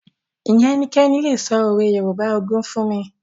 Ǹjẹ́ ẹnikẹ́ni lè sọ òwe Yorùbá ogún fún mi?